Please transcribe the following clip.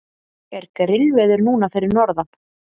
er grillveður núna fyrir norðan